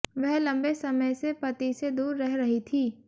वह लम्बे समय से पति से दूर रह रही थी